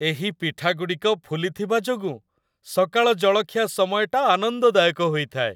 ଏହି ପିଠାଗୁଡ଼ିକ ଫୁଲିଥିବା ଯୋଗୁଁ ସକାଳ ଜଳଖିଆ ସମୟଟା ଆନନ୍ଦଦାୟକ ହୋଇଥାଏ।